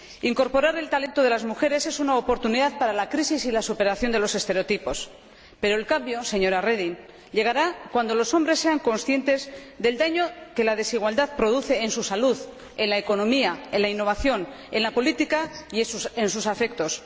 Incorporar el talento de las mujeres es una oportunidad para la crisis y la superación de los estereotipos. Pero el cambio, señora Reding, llegará cuando los hombres sean conscientes del daño que la desigualdad produce en su salud, en la economía, en la innovación, en la política y en sus relaciones afectivas.